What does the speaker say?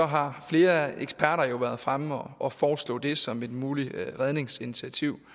har flere eksperter jo været fremme og foreslå det som et muligt redningsinitiativ